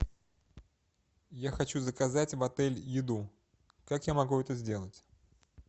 я хочу заказать в отель еду как я могу это сделать